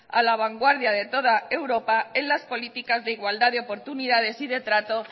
a la vanguardia de toda europa en las políticas de igualdad de oportunidades y de trato